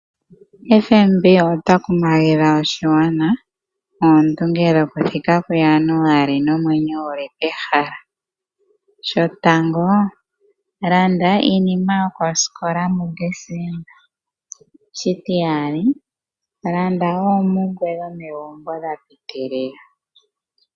Ombanga yetu yoyango yopashigwana otayi kumagidha oshigwana oondunge dhokuthika kuJanuali nomwenyo gu li pehala. Shotango, landa iinima yokosikola muDesemba. Shitiyali, landa oompumbwe dhomegumbo dha piitilila.